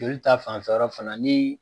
Joli ta fanfɛ yɔrɔ fana ni